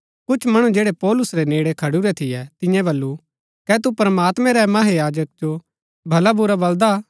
कुछ मणु जैड़ै पौलुस रै नेड़ै खडुरै थियै तिन्ये बल्लू कै तु प्रमात्मैं रै महायाजक जो भलाबुरा बलदा हा